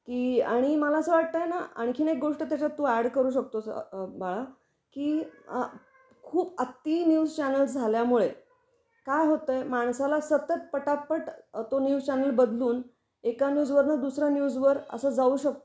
की आणि मला अस वाटत आहेना आणखीन एक गोष्ट त्याच्यात तू ऍड करू शकतो बाळा ,की खूप अती न्यूज चॅनेल झाल्या मुळे काय होत आहे माणसाला सतत पटापट तो न्यूज चॅनेल बदलून एका न्यूज वरन दुसरा न्यूज वर अस जाऊ शकतो